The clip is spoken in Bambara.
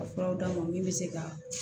Ka furaw d'a ma min bɛ se ka